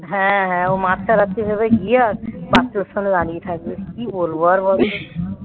হ্যাঁ, হ্যাঁ. ও মাছ ছাড়াচ্ছে ভেবে bathroom এর সামনে গিয়ে দাঁড়িয়ে থাকে কি বলবো আর বলত